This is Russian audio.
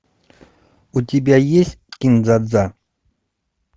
у тебя есть кин дза дза